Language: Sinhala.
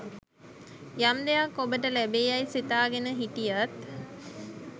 යම් දෙයක් ඔබට ලැබේ යැයි සිතාගෙන හිටියත්